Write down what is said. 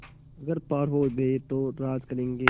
अगर पार हो गये तो राज करेंगे